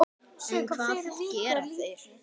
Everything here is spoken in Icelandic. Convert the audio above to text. En hvað gera þeir?